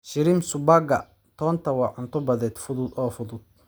Shrimp subagga toonta waa cunto badeed fudud oo fudud.